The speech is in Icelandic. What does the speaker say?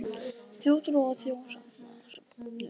Þjóðtrú og þjóðsagnasöfnun